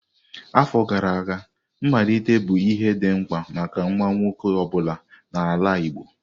Afọ gara aga, mmalite bụ ihe dị mkpa maka nwa nwoke ọ bụla n'ala Igbo.